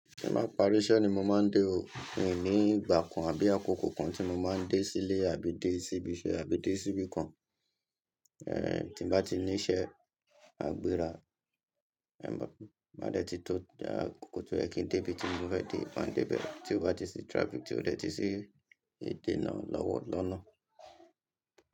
Tí n bá parí iṣẹ́ ni mo máa ń dé o, mi ń ní ìgbà kan àbí àkókò kan tí mo máa ń dé sílé àbí dé sí ibi iṣẹ́ àbí dé sí ibìkan, eh, tí n bá ti ní iṣẹ́, maàgbéra, mádẹ ti tó, àkókò tó yẹ kí ń débi tí mo fẹ́ dé, máa dé bẹ́ẹ̀. Tí o bá ti sí traffic, tí o dẹ ti sí ìdènà lọ́wọ́ lọ́nà.